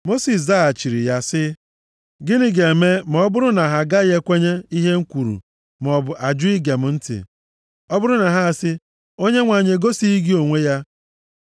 Mosis zaghachiri ya sị, “Gịnị ga-eme ma ọ bụrụ na ha agaghị ekwenye ihe m kwuru maọbụ ajụ ige m ntị? Ọ bụrụ na ha asị, ‘ Onyenwe anyị egosighị gị onwe ya.’ ”